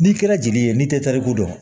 N'i kɛra jeli ye n'i tɛ tariku dɔn